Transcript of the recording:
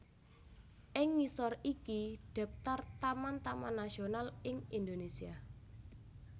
Ing ngisor iki daphtar taman taman nasional ing Indonésia